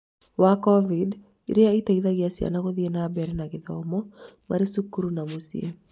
wa COVID, ĩrĩa ĩteithagia ciana gũthiĩ na mbere na gĩthomo marĩ cukuru na mũcĩĩ.